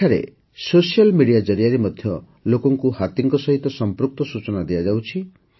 ଏଠାରେ social media ଜରିଆରେ ମଧ୍ୟ ଲୋକଙ୍କୁ ହାତୀଙ୍କ ସହିତ ସଂପୃକ୍ତ ସୂଚନା ଦିଆଯାଉଛି